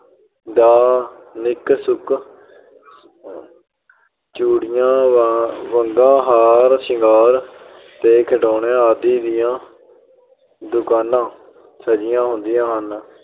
ਦਾ ਨਿੱਕ-ਸੁੱਕ, ਚੂੜੀਆਂ, ਵੰਗਾਂ, ਹਾਰ ਸ਼ਿੰਗਾਰ ਤੇ ਖਿਡੋਣਿਆਂ ਆਦਿ ਦੀਆਂ ਦੁਕਾਨਾਂ ਸਜੀਆਂ ਹੁੰਦੀਆਂ ਹਨ।